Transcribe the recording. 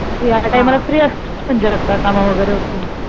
तू ह्या टायमाला फ्री असतेस काम वगैरे उरकून